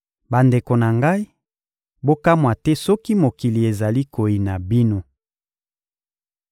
Bandeko na ngai, bokamwa te soki mokili ezali koyina bino.